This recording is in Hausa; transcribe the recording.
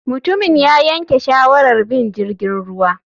Mutumin ya yanke shawarar bin jirgin ruwa.